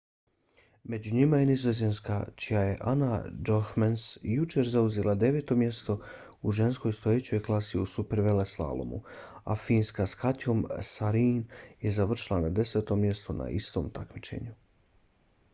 među njima je nizozemska čija je anna jochemsen jučer zauzela deveto mjesto u ženskoj stojećoj klasi u superveleslalomu a finska s katjom saarinen je završila na desetom mjestu na istom takmičenju